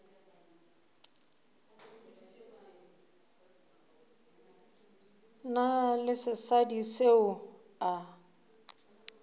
na le sesadi seo a